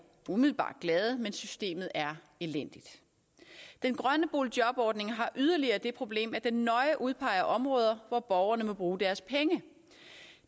umiddelbart glade men systemet er elendigt den grønne boligjobordning har yderligere det problem at den nøje udpeger områder hvor borgerne må bruge deres penge